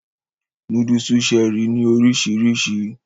Núdúùsù Cherie ní oríṣiríṣi